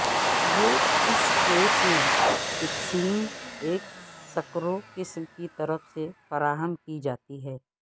یہ اس کیس میں فکسنگ ایک سکرو قسم کی طرف سے فراہم کی جاتی ہے